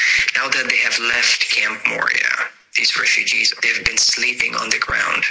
Now that they have left Camp Moria, these refugees have been sleeping on the ground.